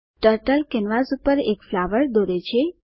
turtle canvas પર એક flower દોરે છે